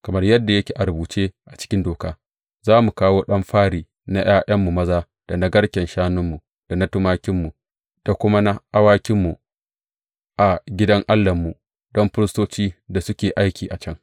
Kamar yadda yake a rubuce a cikin Doka, za mu kawo ɗan fari na ’ya’yanmu maza da na garken shanunmu, da na tumakinmu, da kuma na awakinmu a gidan Allahnmu, don firistocin da suke aikin a can.